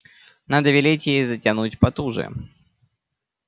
надо велеть ей затянуть потуже